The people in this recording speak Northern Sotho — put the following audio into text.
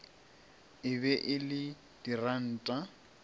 e be e le diranta